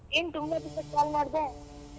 ಏನ್ ತುಂಬಾ ದಿವ್ಸಕ್ call ಮಾಡ್ದೆ.